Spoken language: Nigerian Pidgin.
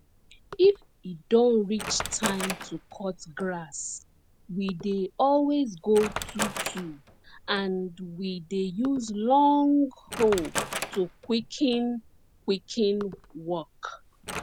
if e don reach time to cut grass we dey always go twotwo and we dey use long hoe to quicken quicken work